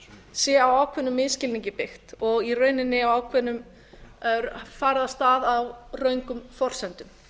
sé á ákveðnum misskilningi byggt og í rauninni farið á stað á röngum forsendum